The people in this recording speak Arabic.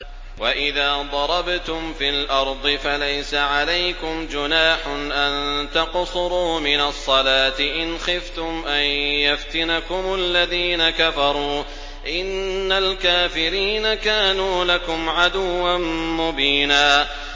وَإِذَا ضَرَبْتُمْ فِي الْأَرْضِ فَلَيْسَ عَلَيْكُمْ جُنَاحٌ أَن تَقْصُرُوا مِنَ الصَّلَاةِ إِنْ خِفْتُمْ أَن يَفْتِنَكُمُ الَّذِينَ كَفَرُوا ۚ إِنَّ الْكَافِرِينَ كَانُوا لَكُمْ عَدُوًّا مُّبِينًا